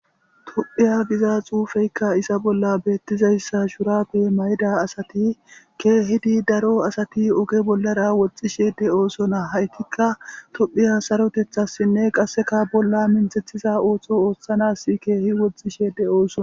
Tophiya giza xuufeyka hayssa bolla beetizayssa shurabe mayida asati keehidi daro asati oge bollara woththishe de'osona haytikka tophiya sarotethasinne qaseka bolaa minthethiza ootho oothanas keehi woxxishe de'osona.